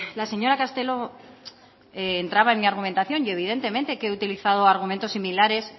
la señora castelo entraba en mi argumentación y evidentemente que he utilizado argumentos similares